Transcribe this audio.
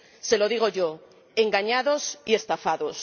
Se lo digo yo engañados y estafados.